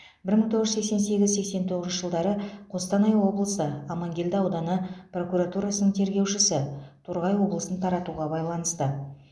бір мың тоғыз жүз сексен сегіз сексен тоғызыншы жылдары қостанай облысы амангелді ауданы прокуратурасының тергеушісі торғай облысын таратуға байланысты